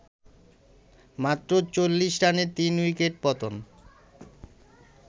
মাত্র ৪০ রানে ৩ উইকেট পতন